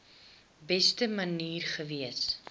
beste manier gewees